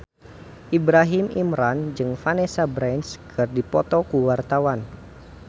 Ibrahim Imran jeung Vanessa Branch keur dipoto ku wartawan